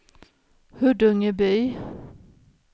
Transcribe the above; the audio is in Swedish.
Huddungeby